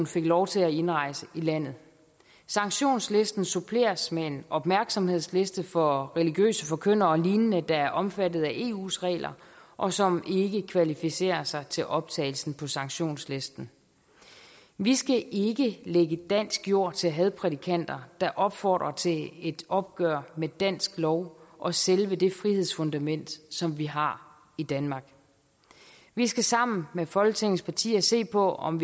fik lov til at indrejse i landet sanktionslisten suppleres med en opmærksomhedsliste for religiøse forkyndere og lignende der er omfattet af eus regler og som ikke kvalificerer sig til optagelse på sanktionslisten vi skal ikke lægge dansk jord til hadprædikanter der opfordrer til et opgør med dansk lov og selve det frihedsfundament som vi har i danmark vi skal sammen med folketingets partier se på om